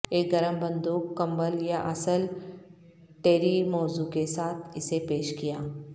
ایک گرم بندوق کمبل یا اصل ٹیری موزوں کے ساتھ اسے پیش کیا